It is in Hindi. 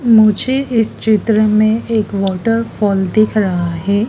मुझे इस चित्र में एक वॉटरफॉल दिख रहा है।